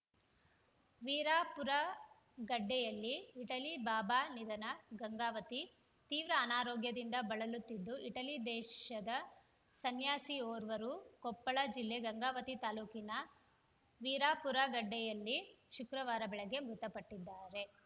ವೀರಾಪುರಗಡ್ಡೆಯಲ್ಲಿ Italy Baba ನಿಧನ ಗಂಗಾವತಿ ತೀವ್ರ ಅನಾರೋಗ್ಯದಿಂದ ಬಳಲುತ್ತಿದ್ದ ಇಟಲಿ ದೇಶದ ಸನ್ಯಾಸಿಯೋರ್ವರು ಕೊಪ್ಪಳ ಜಿಲ್ಲೆ ಗಂಗಾವತಿ ತಾಲೂಕಿನ ವೀರಾಪುರಗಡ್ಡೆಯಲ್ಲಿ ಶುಕ್ರವಾರ ಬೆಳಗ್ಗೆ ಮೃತಪಟ್ಟಿದ್ದಾರೆ